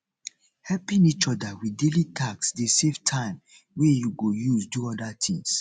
helping each other with daily task de save time wey you go use do other things